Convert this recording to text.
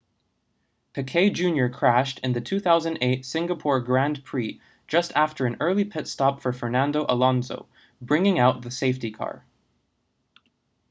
piquet jr crashed in the 2008 singapore grand prix just after an early pit stop for fernando alonso bringing out the safety car